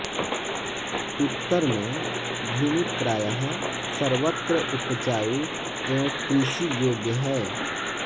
उत्तर में भूमि प्रायः सर्वत्र उपजाऊ एवं कृषि योग्य है